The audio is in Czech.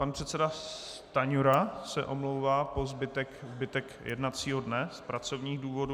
Pan předseda Stanjura se omlouvá po zbytek jednacího dne z pracovních důvodů.